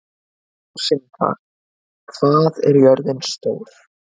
Rósinkar, hvað er jörðin stór?